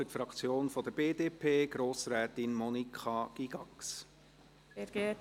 Für die Fraktion der BDP: Monika Gygax.